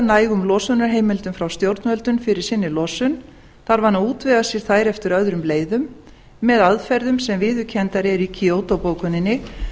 nægum losunarheimildum frá stjórnvöldum fyrir sinni losun þarf hann að útvega sér þær eftir öðrum leiðum með aðferðum sem viðurkenndar eru í kyoto bókuninni